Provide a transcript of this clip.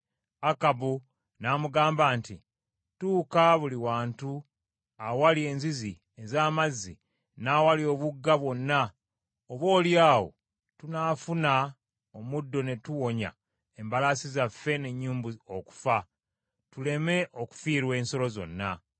Akabu n’amugamba nti, “Tuuka buli wantu awali enzizi ez’amazzi n’awali obugga bwonna, oboolyawo tunaafuna omuddo ne tuwonya embalaasi zaffe n’ennyumbu okufa, tuleme okufiirwa ensolo zonna.”